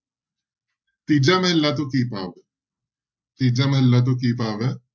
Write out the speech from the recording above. ਤੀਜਾ ਮਹਲਾ ਤੋਂ ਕੀ ਭਾਵ ਹੈ ਤੀਜਾ ਮਹਲਾ ਤੋਂ ਕੀ ਭਾਵ ਹੈ?